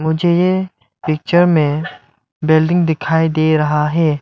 मुझे पिक्चर में बिल्डिंग दिखाई दे रहा है।